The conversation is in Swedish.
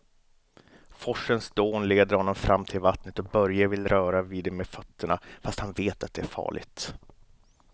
Forsens dån leder honom fram till vattnet och Börje vill röra vid det med fötterna, fast han vet att det är farligt.